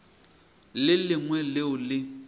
le le lengwe leo le